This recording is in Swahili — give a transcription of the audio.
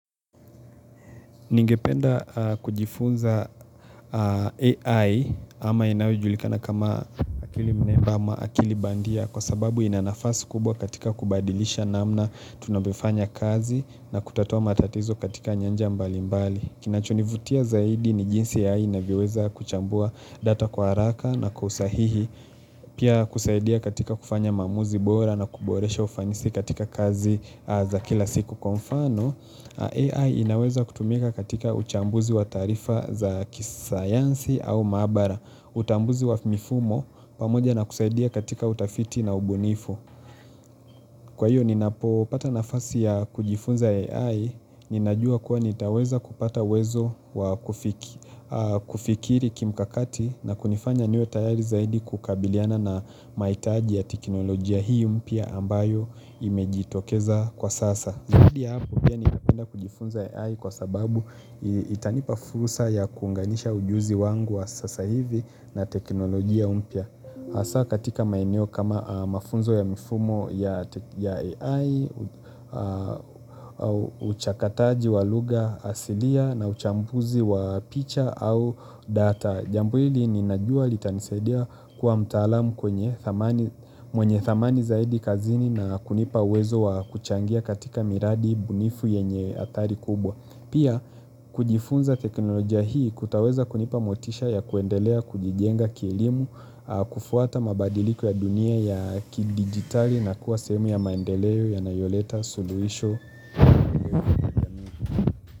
Ningependa kujifunza AI ama inayojulikana kama akili mneba ama akili bandia kwa sababu ina nafasi kubwa katika kubadilisha namna tunavyofanya kazi na kutatua matatizo katika nyanja mbali mbali. Kinachunivutia zaidi ni jinsi AI inavyoweza kuchambua data kwa haraka na kusahihi pia kusaidia katika kufanya maamuzi bora na kuboresha ufanisi katika kazi za kila siku kwa mfano. AI inaweza kutumika katika uchambuzi wa taarifa za kisayansi au maabara utambuzi wa mifumo pamoja na kusaidia katika utafiti na ubunifu Kwa hiyo ninapo pata nafasi ya kujifunza AI Ninajua kuwa nitaweza kupata wezo wa kufikiri kimkakati na kunifanya niwe tayari zaidi kukabiliana na maitaji ya teknolojia hii mpya ambayo imejitokeza kwa sasa Ndiya hapo pia ni kapenda kujifunza AI kwa sababu itanipa fursa ya kunganisha ujuzi wangu wa sasa hivi na teknolojia mpya hasa katika maeneo kama mafunzo ya mifumo ya AI, uchakataji walugha asilia na uchambuzi wa picha au data Jambo hili ni najua litanisadia kuwa mtaalamu kwenye thamani mwenye thamani zaidi kazini na kunipa uwezo wa kuchangia katika miradi bunifu yenye athari kubwa. Pia kujifunza teknolojia hii kutaweza kunipa motisha ya kuendelea kujijenga kielimu, kufuata mabadiliko ya dunia ya kidigitali na kuwa sehemu ya maendeleo yanayo leta, suluhisho.